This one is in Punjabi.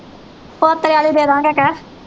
ਪੋਤਿਆਂ ਨੂੰ ਦੇ ਦੇਵਾਂਗੇ ਕਹਿ